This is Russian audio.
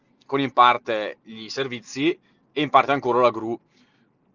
корень партия или сервисы импорта куру